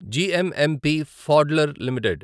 GMMP ఫాడ్లర్ limited